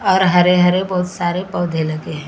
और हरे-हरे बहुत सारे पौधे लगे हैं।